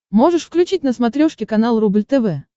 можешь включить на смотрешке канал рубль тв